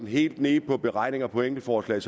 helt ned i beregninger på enkeltforslag